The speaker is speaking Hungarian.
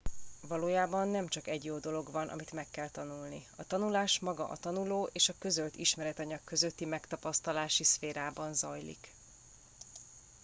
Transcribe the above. valójában nem csak egy jó dolog van amit meg kell tanulni a tanulás maga a tanuló és a közölt ismeretanyag közötti megtapasztalási szférában zajlik